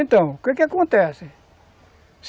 Então, o que que acontece?